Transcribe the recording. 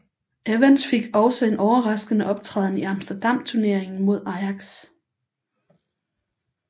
Evans fik også en overraskende optræden i Amsterdam Turneringen mod Ajax